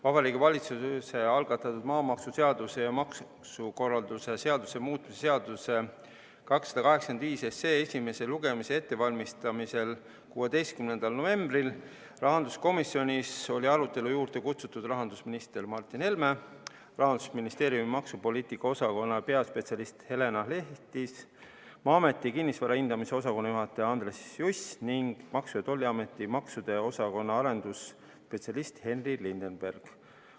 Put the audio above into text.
Vabariigi Valitsuse algatatud maamaksuseaduse ja maksukorralduse seaduse muutmise seaduse eelnõu 285 esimese lugemise ettevalmistamisele 16. novembril olid rahanduskomisjoni arutelu juurde kutsutud rahandusminister Martin Helme, Rahandusministeeriumi maksupoliitika osakonna peaspetsialist Helena Lehtis, Maa-ameti kinnisvara hindamise osakonna juhataja Andres Juss ning Maksu- ja Tolliameti maksude osakonna arendusspetsialist Henri Lindeberg.